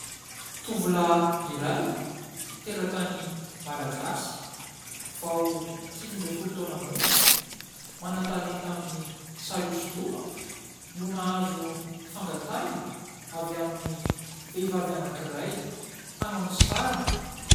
Tovolahy iray, teratany malagasy, vao sivy ambin'ny folo taona monja, manan-talenta amin'ny sary hosodoko, no nahazo fangatahina avy amin'ny vehivavy anankiray hanao ny sariny.